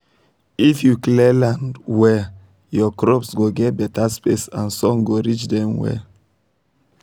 if you clear land well your crops go get better space and sun go reach dem well